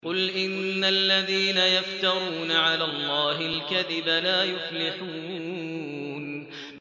قُلْ إِنَّ الَّذِينَ يَفْتَرُونَ عَلَى اللَّهِ الْكَذِبَ لَا يُفْلِحُونَ